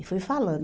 E foi falando.